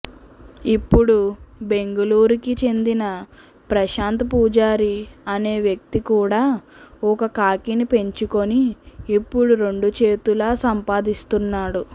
ఇప్పుడు బెంగుళూరుకి చెందిన ప్రశాంత్ పూజారి అనే వ్యక్తి కూడా ఒక కాకిని పెంచుకొని ఇప్పుడు రెండు చేతులా సంపాదిస్తున్నాడు